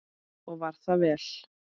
Og var það vel.